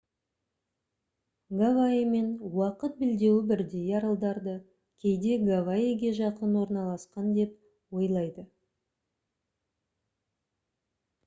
гавайимен уақыт белдеуі бірдей аралдарды кейде «гавайиге жақын орналасқан» деп ойлайды